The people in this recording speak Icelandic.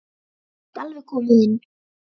Ég get alveg komið inn.